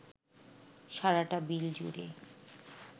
সারাটা বিল জুড়ে